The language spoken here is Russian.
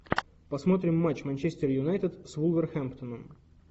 посмотрим матч манчестер юнайтед с вулверхэмптоном